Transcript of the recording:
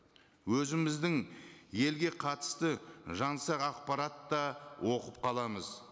өзіміздің елге қатысты жаңсақ ақпарат та оқып қаламыз